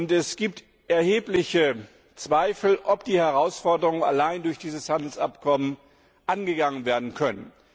Es gibt erhebliche Zweifel, ob die Herausforderungen allein durch dieses Handelsabkommen angegangen werden können.